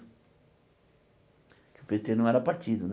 Que o Pê Tê não era partido, né?